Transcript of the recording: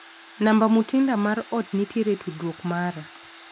Namba Mutinda mar ot nitiere e tudruok mara.